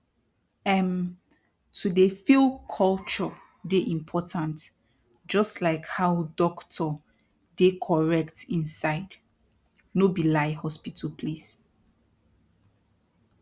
erm to dey feel culture dey important jus like how dokto dey correct inside no be lie hospital place